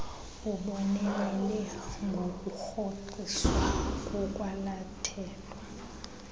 ubonelele ngokurhoxiswa kokwalathelwa